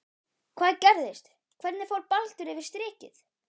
Hvað gerðist, hvernig fór Baldur yfir strikið?